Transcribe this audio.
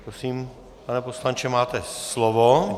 Prosím, pane poslanče, máte slovo.